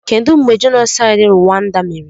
Kedụ mgbe jenosaịd Ruwanda mere?